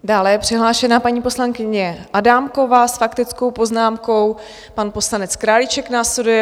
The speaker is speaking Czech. Dále je přihlášena paní poslankyně Adámková s faktickou poznámkou, pan poslanec Králíček následuje.